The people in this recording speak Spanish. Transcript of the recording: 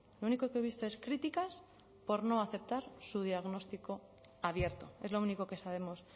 lo único que he visto es críticas por no aceptar su diagnóstico abierto es lo único que sabemos